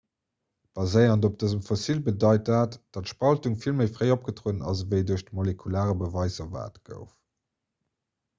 baséierend op dësem fossil bedeit dat datt d'spaltung vill méi fréi opgetrueden ass ewéi duerch de molekulare beweis erwaart gouf